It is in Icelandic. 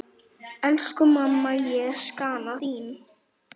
Elsku mamma, ég sakna þín.